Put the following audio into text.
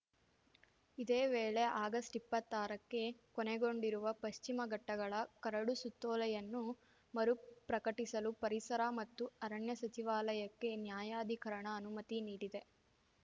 ಇದೇ ವೇಳೆ ಆಗಸ್ಟ್ಇಪ್ಪತ್ತಾರಕ್ಕೆ ಕೊನೆಗೊಂಡಿರುವ ಪಶ್ಚಿಮ ಘಟ್ಟಗಳ ಕರಡು ಸುತ್ತೋಲೆಯನ್ನು ಮರುಪ್ರಕಟಿಸಲು ಪರಿಸರ ಮತ್ತು ಅರಣ್ಯ ಸಚಿವಾಲಯಕ್ಕೆ ನ್ಯಾಯಾಧಿಕರಣ ಅನುಮತಿ ನೀಡಿದೆ